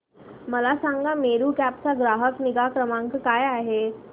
मला सांगा मेरू कॅब चा ग्राहक निगा क्रमांक काय आहे